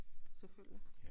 Selvfølgelig